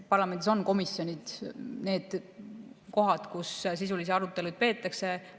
Parlamendis on komisjonid need kohad, kus sisulisi arutelusid peetakse.